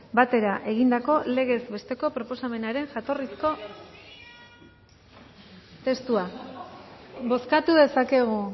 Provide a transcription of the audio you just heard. batera egindako legez besteko proposamenaren jatorrizko testua bozkatu dezakegu